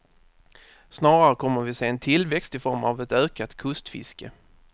Snarare kommer vi att se en tillväxt i form av ett ökat kustfiske.